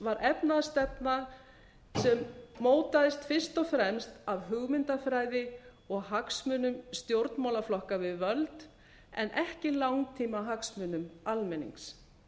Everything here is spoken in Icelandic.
var efnahagsstefna sem mótaðist fyrst og fremst af hugmyndafræði og hagsmunum stjórnmálaflokka við völd en ekki langtímahagsmunum almennings